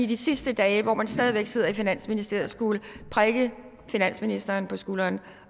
de sidste dage hvor man stadig væk sidder i finansministeriet skulle prikke finansministeren på skulderen